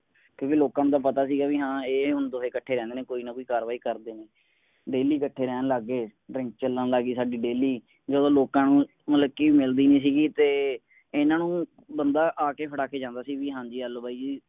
ਕਿਉਂਕਿ ਲੋਕਾਂ ਨੂੰ ਤਾਂ ਪਤਾ ਸੀ ਵੀ ਹਾਂ ਇਹ ਹੁਣ ਦੋਵੇਂ ਇੱਕਠੇ ਰਹਿੰਦੇ ਨੇ ਕੋਈ ਨਾ ਕੋਈ ਕਾੱਰਵਾਈ ਕਰਦੇ ਨੇ ਰੋਜ਼ਾਨਾ ਇੱਕਠੇ ਰਹਿਣ ਲੱਗ ਗਏ ਚੱਲਣ ਲੱਗ ਗਈ ਸਾਡੀ ਰੋਜ਼ਾਨਾਜਦੋਂ ਲੋਕਾਂ ਨੂੰ ਮਤਲਬ ਕਿ. ਮਿਲਦੀ ਨਹੀਂ ਸੀਗੀ ਤੇ ਇਨ੍ਹਾਂ ਨੂੰ ਬੰਦਾ ਆ ਕੇ ਫੜਾ ਕੇ ਜਾਂਦਾ ਸੀ ਵੀ ਆਹ ਲੋ ਬਾਈ ਜੀ